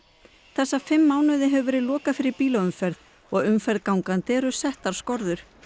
þessa fimm mánuði hefur verið lokað fyrir bílaumferð og umferð gangandi eru settar skorður